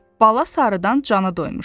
Bala sarıdan canı doymuşam.